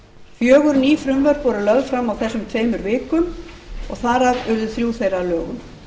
fjögur ný frumvörp voru lögð fram á þessum tveimur vikum og þar af urðu þrjú þeirra að lögum